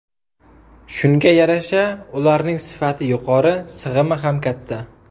Shunga yarasha ularning sifati yuqori, sig‘imi ham katta.